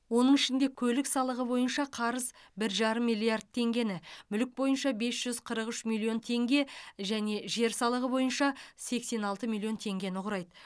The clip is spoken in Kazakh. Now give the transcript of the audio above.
оның ішінде көлік салығы бойынша қарыз бір жарым миллиард теңгені мүлік бойынша бес жүз қырық үш миллион теңге және жер салығы бойынша сексен алты миллион теңгені құрайды